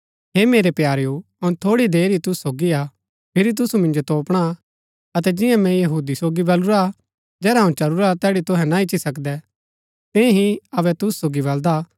हे मेरै प्यारेओ अऊँ थोड़ी देर ही तूसु सोगी हा फिरी तूसु मिन्जो तोपणा अतै जिंआ मैंई यहूदी सोगी बलुरा जेहरा अऊँ चलूरा तैड़ी तूहै ना इच्ची सकदै तियां ही अबै तूसु सोगी बलदा हा